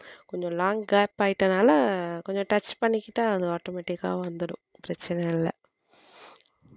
கொஞ்சம் long gap ஆயிட்டதுனால கொஞ்சம் touch பண்ணிக்கிட்டா அது automatic கா வந்துரும் பிரச்சனை இல்லை